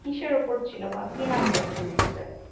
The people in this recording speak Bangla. কিসের উপর ছিল বা কি নাম web series টার